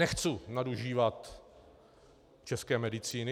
Nechci nadužívat české medicíny.